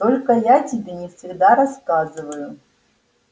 только я тебе не всегда рассказываю